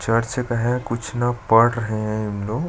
church का है कुछ न पढ़ रहे है उन लोग--